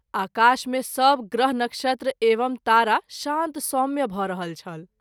आकाश मे सभ ग्रह नक्षत्र एवं तारा शान्त- सौम्य भ’ रहल छल।